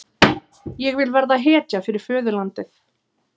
Ég vil verða hetja fyrir föðurlandið.